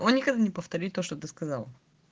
он никогда не повторит то что ты сказал